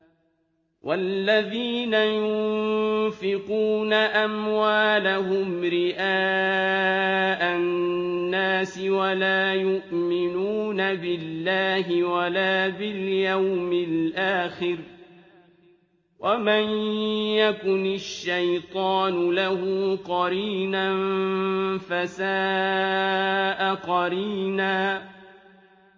وَالَّذِينَ يُنفِقُونَ أَمْوَالَهُمْ رِئَاءَ النَّاسِ وَلَا يُؤْمِنُونَ بِاللَّهِ وَلَا بِالْيَوْمِ الْآخِرِ ۗ وَمَن يَكُنِ الشَّيْطَانُ لَهُ قَرِينًا فَسَاءَ قَرِينًا